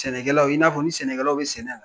Sɛnɛkɛlaw i'a fɔ ni sɛnɛkɛlaw bɛ sɛnɛ na.